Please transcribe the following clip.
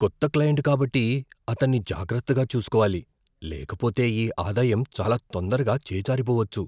కొత్త క్లయింట్ కాబట్టి, అతన్ని జాగ్రత్తగా చూసుకోవాలి లేకపోతే ఈ ఆదాయం చాలా తొందరగా చేజారిపోవచ్చు.